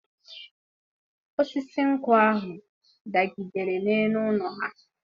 Osisi nkwụ ahụ dagidere n'elu ụlọ ha.